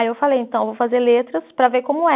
Aí eu falei, então, vou fazer letras para ver como é.